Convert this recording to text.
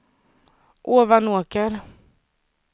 Ovanåker